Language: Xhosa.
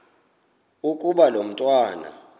ukuba lo mntwana